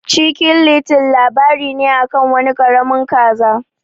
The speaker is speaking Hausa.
Chicken little labari ne akan wani karamin kaza.